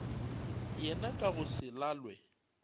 yena ka go se lalwe